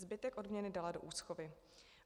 Zbytek odměny dala do úschovy.